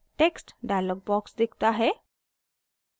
text dialog box दिखता है